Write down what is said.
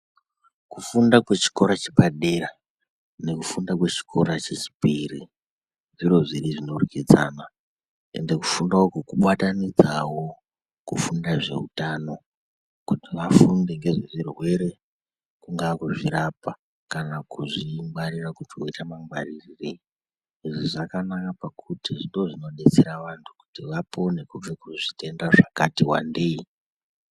Kufunda kwe chikora chepadera nekufunda kwe chikora chechipiri zviro zviiri zvinodyridzana. Ende kufunda uku kubatanidzawo kufunda zveutano kuti vafunde ngezvezvirwere. Kungaa kuzvirapa kana kuzvingwarira kuti woita mangwarirei. Izvi zvakanaka pakuti ndozvinodetsera antu kuti vapone kubva kuzvitenda zvakati wandei.